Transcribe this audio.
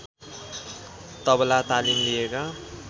तबला तालिम लिएका